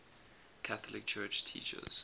catholic church teaches